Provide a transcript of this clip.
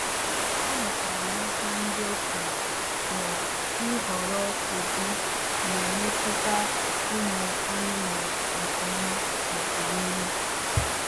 Amụtara m n’aka ndị okenye na ịhọrọ ụdị na-emetụta ụmụ anụmanụ nke ọma n’ọdịnihu